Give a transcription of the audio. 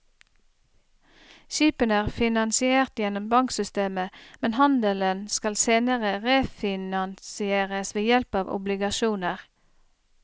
Skipene er finansiert gjennom banksystemet, men handelen skal senere refinansieres ved hjelp av obligasjoner.